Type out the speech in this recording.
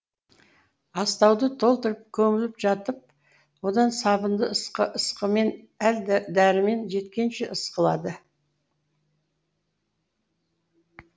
астауды толтырып көміліп жатып одан сабынды ысқымен әл дірмені жеткенше ысқыланды